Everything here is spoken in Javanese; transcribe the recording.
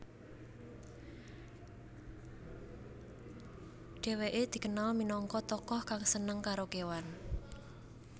Dheweke dikenal minangka tokoh kang seneng karo kewan